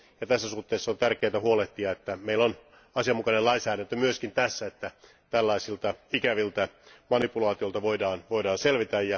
Tässä suhteessa on tärkeää huolehtia, että meillä on asianmukainen lainsäädäntö myös tässä asiassa, jotta tällaisista ikävistä manipulaatioista voidaan selvitä.